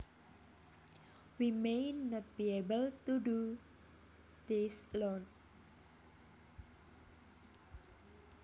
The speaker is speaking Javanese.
We may not be able to do this alone